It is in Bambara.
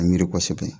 A miiri kosɛbɛ